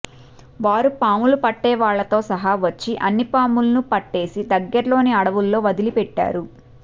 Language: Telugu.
వారు పాములు పట్టేవాళ్లతో సహా వచ్చి అన్ని పాములను పట్టేసి దగ్గరలోని అడవుల్లో వదిలిపెట్టారు